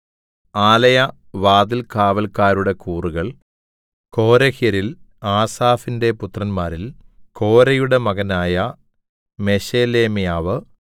ആലയ വാതിൽകാവല്ക്കാരുടെ കൂറുകൾ കോരഹ്യരിൽ ആസാഫിന്റെ പുത്രന്മാരിൽ കോരെയുടെ മകനായ മെശേലെമ്യാവ്